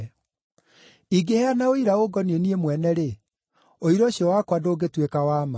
“Ingĩheana ũira ũngoniĩ niĩ mwene-rĩ, ũira ũcio wakwa ndũngĩtuĩka wa ma.